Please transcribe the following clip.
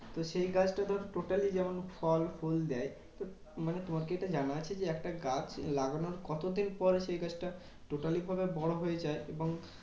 তো সেই গাছটা ধরো totally যেমন ফল ফুল দেয়। তো মানে তোমার কি এটা জানা আছে যে? একটা গাছ লাগানোর কতদিন দিন পর সেই গাছটা totally ভাবে বড় হয়ে যায়? এবং